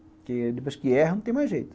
Porque depois que erra, não tem mais jeito.